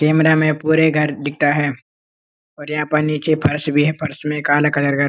camera में पूरे घर दिखता है और यहाँ पर नीचे फर्श भी है फर्श में काला कलर का --